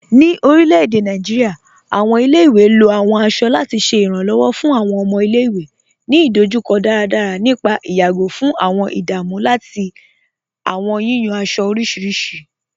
Ní orilẹ̀-èdè Nàìjíríà, awọn ilẹ̀-ìwé ló awọn aṣọ lati ṣẹ iranlọ́wọ fun awọn ọmọ ilẹ̀-ìwé ni idojukọ daradara nípà ìyàgó fun awọn ìdámù lati awọn yiyan aṣọ orísiríṣi.